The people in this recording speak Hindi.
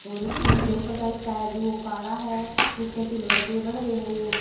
और स्टूल के ऊपर का हिस्सा है जो काड़ा है नीचे सिल्वर के बड़ रहे है ये।